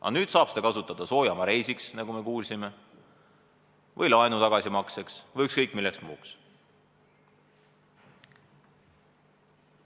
Aga nüüd saab seda kasutada soojamaareisiks, nagu me kuulsime, või laenu tagasimakseks või ükskõik milleks muuks.